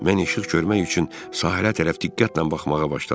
Mən işıq görmək üçün sahilə tərəf diqqətlə baxmağa başladım.